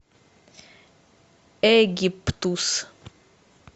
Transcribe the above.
египтус